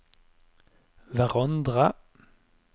hverandre